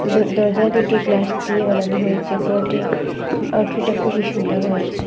দর দরজা দুটি গ্লাস দিয়ে বানানো হয়েছে ঘরটির আউটফিটটা খুবই সুন্দর হয়েছে।